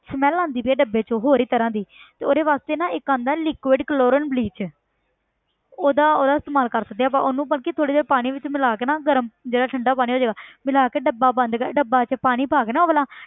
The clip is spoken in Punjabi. Smell ਆਉਂਦੀ ਪਈ ਹੈ ਡੱਬੇ ਚੋਂ ਹੋਰ ਹੀ ਤਰ੍ਹਾਂ ਦੀ ਤੇ ਉਹਦੇ ਵਾਸਤੇ ਇੱਕ ਆਉਂਦਾ ਹੈ liquid chlorine bleach ਉਹਦਾ ਉਹਦਾ ਇਸਤੇਮਾਲ ਕਰ ਸਕਦੇ ਹਾਂ ਆਪਾਂ ਉਹਨੂੰ ਮਤਲਬ ਕਿ ਥੋੜ੍ਹੇ ਜਿਹੇ ਪਾਣੀ ਵਿੱਚ ਮਿਲਾ ਕੇ ਨਾ ਗਰਮ ਜਦੋਂ ਠੰਢਾ ਪਾਣੀ ਹੋ ਜਾਏਗਾ ਮਿਲਾ ਕੇ ਡੱਬਾ ਬੰਦ ਕਰ~ ਡੱਬਾ 'ਚ ਪਾਣੀ ਪਾ ਕੇ ਨਾ ਉਹ ਵਾਲਾ